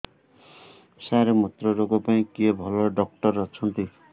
ସାର ମୁତ୍ରରୋଗ ପାଇଁ କିଏ ଭଲ ଡକ୍ଟର ଅଛନ୍ତି